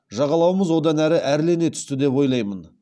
жағалауымыз одан әрі әрлене түсті деп ойлаймын